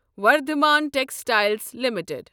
Vardhman textiles limited